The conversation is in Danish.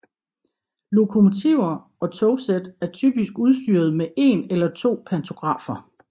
Lokomotiver og togsæt er typisk udstyret med en eller to pantografer